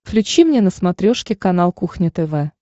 включи мне на смотрешке канал кухня тв